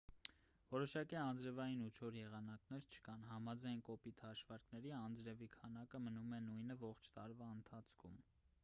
որոշակի անձրևային ու չոր եղանակներ չկան համաձայն կոպիտ հաշվարկների անձրևի քանակը մնում է նույնը ողջ տարվա ընթացքում